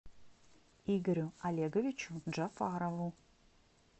игорю олеговичу джафарову